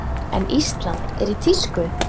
En Ísland er í tísku.